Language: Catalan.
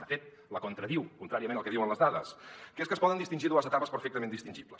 de fet la contradiu contràriament al que diuen les dades que és que es poden distingir dues etapes perfectament distingibles